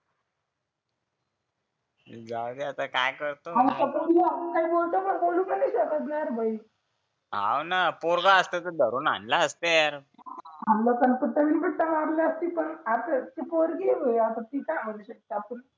जाऊदे आता काय करतोय आणि पोरगी आहे असं बोलू पण नाही भाई हो ना पोरगं असतं तर धरून आणला असतं यार आणलं असतं कुठे कुठे मारलं असतं परत असच ती पोरगी आहे यार की काय हाणू शकत आपण